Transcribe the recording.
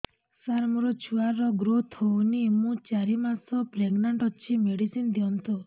ସାର ମୋର ଛୁଆ ର ଗ୍ରୋଥ ହଉନି ମୁ ଚାରି ମାସ ପ୍ରେଗନାଂଟ ଅଛି ମେଡିସିନ ଦିଅନ୍ତୁ